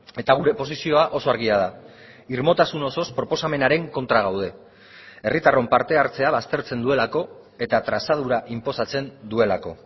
eta gure posizioa oso argia da irmotasun osoz proposamenaren kontra gaude herritarron parte hartzea baztertzen duelako eta trazadura inposatzen duelako